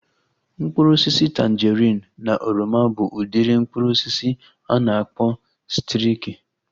Mkpụrụ osisi tanjerin na oroma bụ udiri mkpụrụ osisi a na-akpọ sitriki